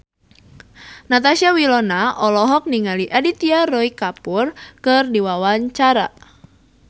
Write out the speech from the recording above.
Natasha Wilona olohok ningali Aditya Roy Kapoor keur diwawancara